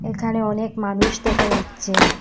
এখানে অনেক মানুষ দেখা যাচ্ছে।